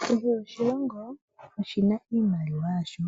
Krhe oshilongi, oshina iimaliwa yasho.